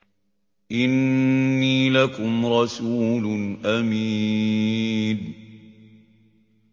إِنِّي لَكُمْ رَسُولٌ أَمِينٌ